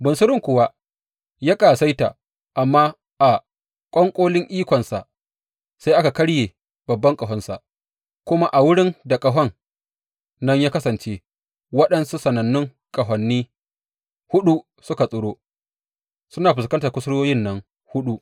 Bunsurun kuwa ya ƙasaita, amma a ƙwanƙolin ikonsa sai aka karye babban ƙahonsa, kuma a wurin da ƙahon nan ya kasance waɗansu sanannun ƙahoni huɗu suka tsiro suna fuskantar kusurwoyin nan huɗu.